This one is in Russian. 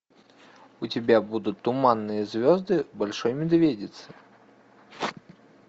у тебя будут туманные звезды большой медведицы